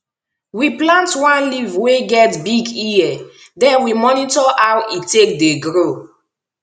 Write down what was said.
we plant one leaf wey get big ear den we monitor how e take dey grow